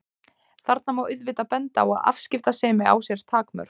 Þarna má auðvitað benda á að afskiptasemi á sér takmörk.